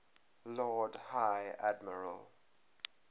lord high admiral